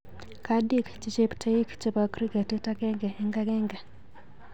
Kadiik che cheptoik chebo kriketit agenge eng agenge.